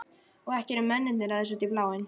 Og ekki eru mennirnir að þessu út í bláinn.